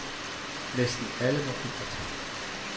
Næsten alle må give fortabt.